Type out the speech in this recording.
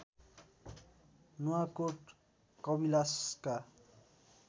Nuwakot कविलासका